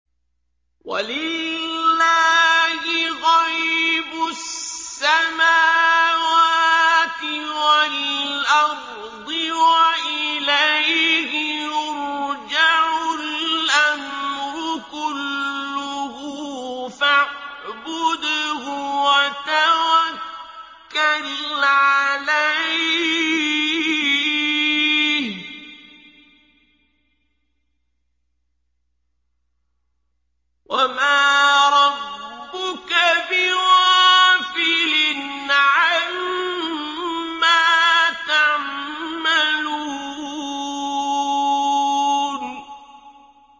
وَلِلَّهِ غَيْبُ السَّمَاوَاتِ وَالْأَرْضِ وَإِلَيْهِ يُرْجَعُ الْأَمْرُ كُلُّهُ فَاعْبُدْهُ وَتَوَكَّلْ عَلَيْهِ ۚ وَمَا رَبُّكَ بِغَافِلٍ عَمَّا تَعْمَلُونَ